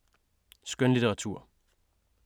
Skønlitteratur